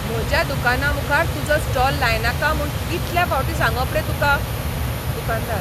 म्हज्या दुकानामुखार तुजो स्टॉल लायनाका म्हूण कितलें फावटीं सांगप रे तुका? दुकानदार